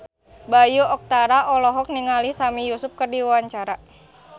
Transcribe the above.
Bayu Octara olohok ningali Sami Yusuf keur diwawancara